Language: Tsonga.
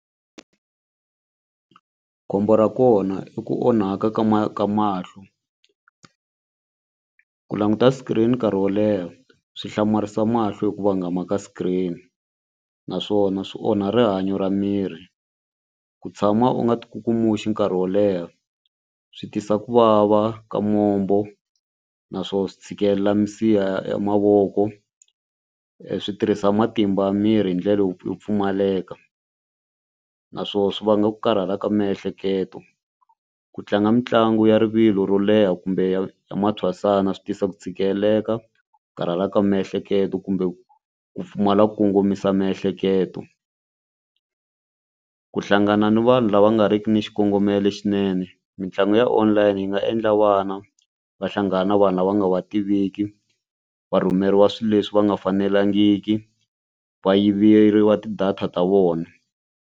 Khombo ra kona i ku onhaka ka ka mahlo ku languta screen nkarhi wo leha swi hlamarisa mahlo hi ku vangama ka screen naswona swi onha rihanyo ra miri. Ku tshama u nga tikukumuxi nkarhi wo leha swi tisa ku vava ka mombo naswona swi tshikelela misiha ya mavoko swi tirhisa matimba ya miri hi ndlela yo yo pfumaleka naswona swi vanga ku karhala ka miehleketo ku tlanga mitlangu ya rivilo ro leha kumbe ya ya mantshwasana swi tisa ku tshikeleleka ku karhala ka miehleketo kumbe ku ku pfumala ku kongomisa miehleketo. Ku hlangana ni vanhu lava nga ri ki ni xikongomelo xinene mitlangu ya online yi nga endla vana va hlangana na vanhu lava nga va tiviki va rhumeriwa swilo leswi va nga fanelangiki va yiveriwa ti-data ta vona.